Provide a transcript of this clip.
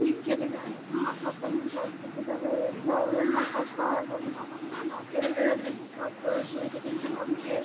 ಈ ಕೆರೆಗಳೆಲ್ಲ ತುಂಬಾ ಆಗಿಬಿಟ್ಟಿದವೆ ನಾವು ಎಲ್ಲ ಕಸವನ್ನು ಕೆರೆಗಳಲ್ಲಿ ಬಿಸಕ್ಬಾರ್ದು ಇದರಿಂದ ನಮಿಗೆ--